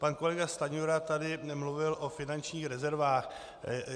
Pan kolega Stanjura tady mluvil o finančních rezervách.